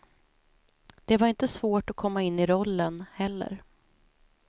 Det var inte svårt att komma in i rollen heller.